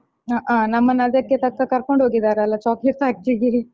ಹಾ ಹಾ ನಮ್ಮನ್ನ ಅದಕ್ಕೆ ತಕ್ಕ ಕರ್ಕೊಂಡು ಹೋಗಿದ್ದಾರಲ್ಲಾ chocolate factory ಗೆ